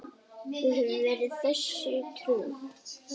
Við höfum verið þessu trú.